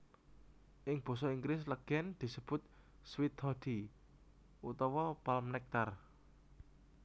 Ing basa Inggris legen disebut Sweet Toddy utawa Palm Nectar